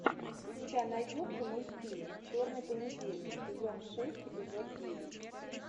у тебя найдется мультфильм черный понедельник сезон шесть эпизод девять